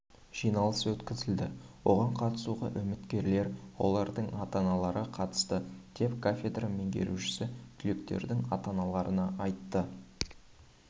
жиналыс өткізілді оған қатысуға үміткерлер олардың ата-аналары қатысты деп кафедра меңгерушісі түлектердің ата-аналарына айтты